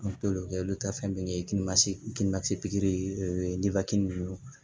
An t'olu kɛ olu taa fɛn bɛɛ kɛ ni pikiri ye o ye